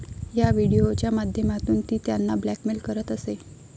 या व्हिडिओच्या माध्यमातून ती त्यांना ब्लॅकमेल करत असे.